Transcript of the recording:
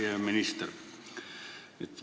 Hea minister!